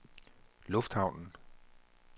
lufthavnen